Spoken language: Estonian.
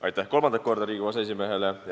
Aitäh kolmandat korda Riigikogu aseesimehele!